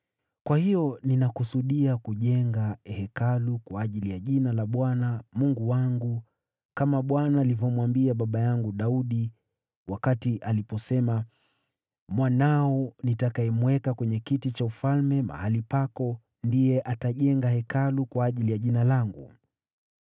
Kwa hiyo, ninakusudia kujenga Hekalu kwa ajili ya Jina la Bwana , Mungu wangu, kama Bwana alivyomwambia baba yangu Daudi, wakati aliposema, ‘Mwanao nitakayemweka kwenye kiti cha ufalme mahali pako, ndiye atajenga Hekalu kwa ajili ya Jina langu.’